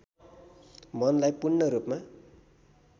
मनलाई पूर्ण रूपमा